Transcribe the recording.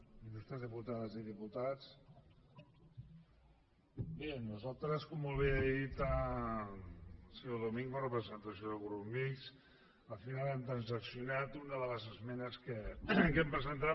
il·lustres diputades i diputats bé nosaltres com molt bé ha dit el senyor domingo en representació del grup mixt al final hem transaccionat una de les esmenes que hem presentat